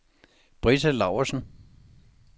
Britta Laursen